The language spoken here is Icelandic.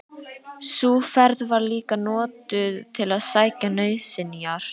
Sú ferð var líka notuð til að sækja nauðsynjar.